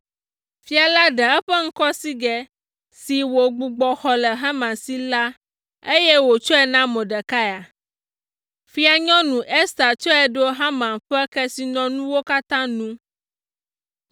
Fia la ɖe eƒe ŋkɔsigɛ si wògbugbɔ xɔ le Haman si la, eye wòtsɔe na Mordekai. Fianyɔnu Ester tsɔe ɖo Haman ƒe kesinɔnuwo katã nu.